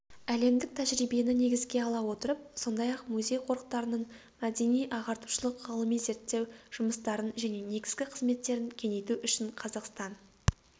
әлемдік тәжірибені негізге ала отырып сондай-ақ музей-қорықтардың мәдени-ағартушылық ғылыми-зерттеу жұмыстарын және негізгі қызметтерін кеңейту үшін қазақстан